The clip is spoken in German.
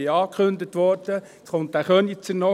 Ich wurde angekündigt.